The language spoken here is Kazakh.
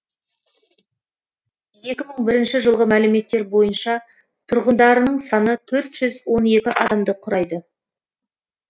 екі мың бірінші жылғы мәліметтер бойынша тұрғындарының саны төрт жүз он екі адамды құрайды